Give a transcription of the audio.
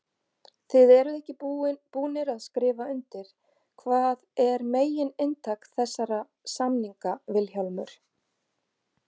Þið eruð ekki búnir að skrifa undir, hvað er megin inntak þessara samninga Vilhjálmur?